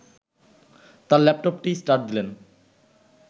তার ল্যাপটপটি স্টার্ট দিলেন